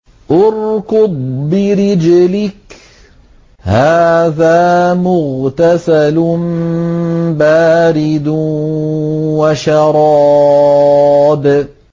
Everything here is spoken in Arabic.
ارْكُضْ بِرِجْلِكَ ۖ هَٰذَا مُغْتَسَلٌ بَارِدٌ وَشَرَابٌ